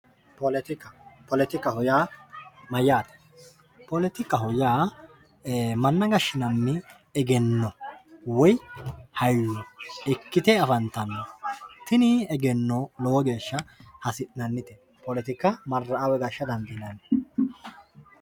poletika poletikaho yaa poletikaho yaa ee manna gashshinanni woy egenno hayyo ikkite afantanno tini egennono lowo geeshsha hasi'nannite poletika marra'a woy gashsha dandiinani